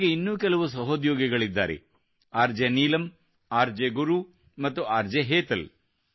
ಅವರಿಗೆ ಇನ್ನೂ ಕೆಲವು ಸಹೋದ್ಯೋಗಿಗಳಿದ್ದಾರೆ R J Neelam R J Guru ಮತ್ತು ಆರ್ ಜೆ ಹೇತಲ್